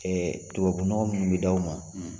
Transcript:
Ɛɛ tubabunɔgɔ minnu bɛ di aw ma